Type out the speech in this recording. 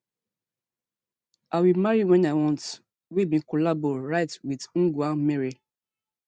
i will marry when i want wey bin collabo write wit ngg wa mirii